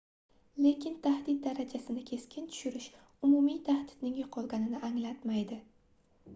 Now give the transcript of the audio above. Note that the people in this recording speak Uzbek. lekin tahdid darajasini keskin tushirish umumiy tahdidning yoʻqolganini anglatmaydi